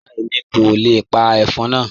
Rárá, Èmi kò le pa ẹ̀fọ́n náà.